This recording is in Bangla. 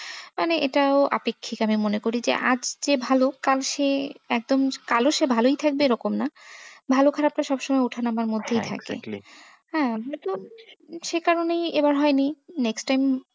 মানে এটাও আপেক্ষিক আমি মনে করি যে আজ যে ভালো কাল সে একদম কালও সে ভালোই থাকবে এরকম না ভালো খারাপ তো সব সময় ওঠা নামার মধ্যেই থাকে হ্যাঁ আমরা তো সে কারণেই এরম হয়নি। next time